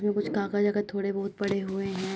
जो कुछ कागज ओगज थोड़े बहुत पड़े हुए हैं।